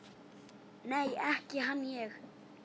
Nei, ekki hann ég.